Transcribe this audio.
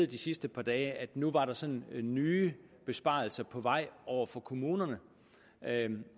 de sidste par dage at nu var der sådan nye besparelser på vej over for kommunerne